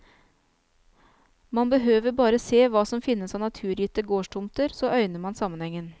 Man behøver bare se hva som finnes av naturgitte gårdstomter, så øyner man sammenhengen.